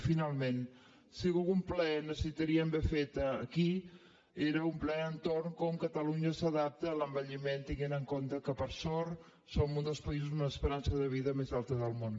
i finalment si algun ple necessitaríem haver fet aquí era un ple entorn de com catalunya s’adapta a l’envelliment tenint en compte que per sort som un dels països amb l’esperança de vida més alta del món